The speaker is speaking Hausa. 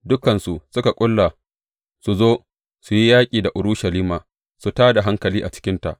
Dukansu suka ƙulla su zo, su yi yaƙi da Urushalima, su tā da hankali a cikinta.